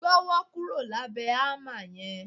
Gbọ́wọ́ kúrò lábẹ̀ hámà yẹn!